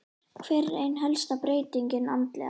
Hver er ein helsta breytingin andlega?